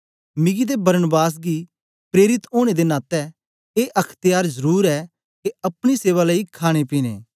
मिगी ते बरनबास गी प्रेरित ओनें दे नातै ए अख्त्यार जरुर ऐ के अपनी सेवा लेई खाणेपीने